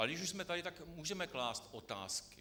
Ale když už jsme tady, tak můžeme klást otázky.